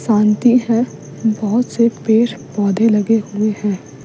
शांति है बहुत से पेड़ पौधे लगे हुए हैं --